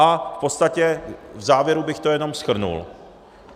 A v podstatě v závěru bych to jenom shrnul.